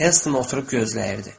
Hels oturub gözləyirdi.